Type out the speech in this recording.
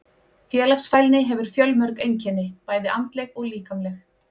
Félagsfælni hefur fjölmörg einkenni, bæði andleg og líkamleg.